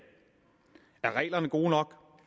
er reglerne gode nok